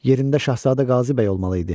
Yerində Şahzadə Qazi bəy olmalı idi.